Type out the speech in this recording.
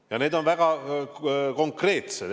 Ja need on väga konkreetsed.